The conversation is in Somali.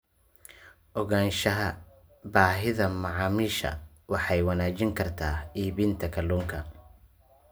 Ogaanshaha baahida macaamiisha waxay wanaajin kartaa iibinta kalluunka.